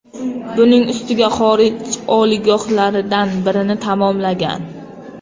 Buning ustiga, xorij oliygohlaridan birini tamomlagan.